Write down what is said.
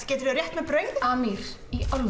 geturðu rétt mér brauðið amir í alvöru